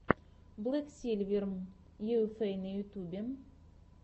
блэк сильвер юэфэй на ютьюбе